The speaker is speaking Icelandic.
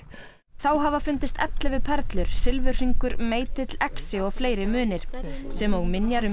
þá hafa fundist ellefu perlur silfurhringur meitill exi og fleiri munir sem og minjar um